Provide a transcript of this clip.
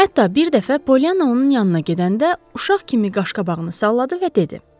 Hətta bir dəfə Polyana onun yanına gedəndə uşaq kimi qaş-qabağını salladı və dedi: